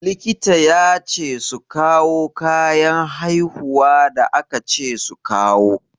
Likita ya ce su kawo kayan haihuwa da aka ce su kawo.